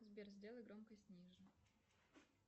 сбер сделай громкость ниже